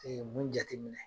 E ye mun jateminɛ ?